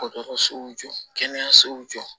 Dɔgɔtɔrɔsow jɔ kɛnɛyasow jɔ